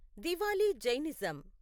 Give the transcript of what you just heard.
Diwali Jainism